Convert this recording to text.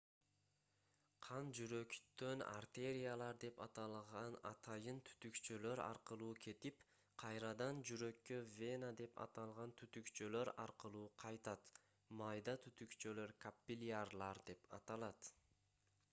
кан жүрөктөн артериялар деп аталган атайын түтүкчөлөр аркылуу кетип кайрадан жүрөккө вена деп аталган түтүкчөлөр аркылуу кайтат майда түтүкчөлөр каппилярлар деп аталат